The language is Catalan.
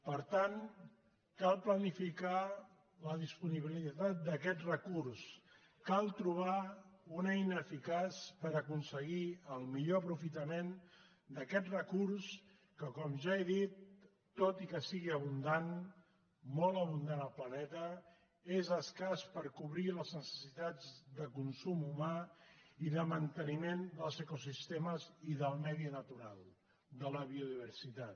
per tant cal planificar la disponibilitat d’aquest recurs cal tro·bar una eina eficaç per aconseguir el millor aprofita·ment d’aquest recurs que com ja he dit tot i que és abundant molt abundant al planeta és escàs per co·brir les necessitats de consum humà i de manteniment dels ecosistemes i del medi natural de la biodiversitat